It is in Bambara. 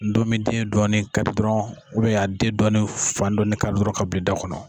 Ndomiden dɔɔnin kari dɔrɔn a den dɔɔnin fan dɔɔnin kari ka bil'i da kɔnɔ.